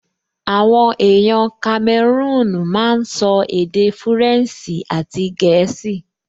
Àwọn èèyàn kamẹrúùn máa n sọ èdè fúrẹ̀nsì àti gẹ̀ẹ́sì